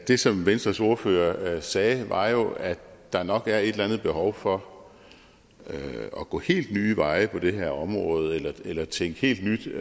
det som venstres ordfører sagde var jo at der nok er et eller andet behov for at gå helt nye veje på det her område eller tænke helt nyt